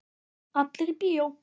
Allir í bíó!